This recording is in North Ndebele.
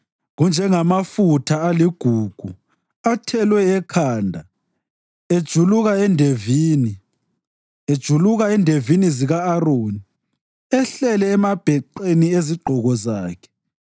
Kunjengamafutha aligugu athelwe ekhanda, ejuluka endevini, ejuluka endevini zika-Aroni, ehlele emabheqeni ezigqoko zakhe.